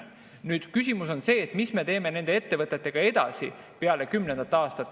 Nüüd küsimus on see, mis me teeme nende ettevõtetega edasi pärast kümnendat aastat.